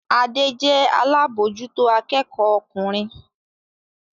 Adé jẹ́ alábòójútó akẹ́kọ̀ọ́ ọkùnrin